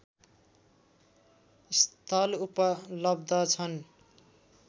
स्थल उपलब्ध छन्